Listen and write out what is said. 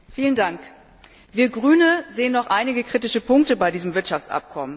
Herr Präsident! Wir Grüne sehen noch einige kritische Punkte bei diesem Wirtschaftsabkommen.